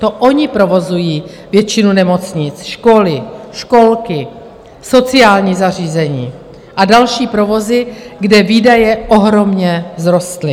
To ony provozují většinu nemocnic, školy, školky, sociální zařízení a další provozy, kde výdaje ohromně vzrostly.